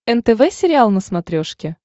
нтв сериал на смотрешке